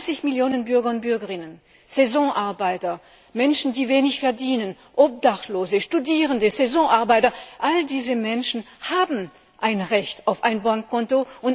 30 Millionen Bürger und Bürgerinnen Saisonarbeiter, Menschen, die wenig verdienen, Obdachlose, Studierende all diese Menschen haben ein Recht auf ein Bankkonto.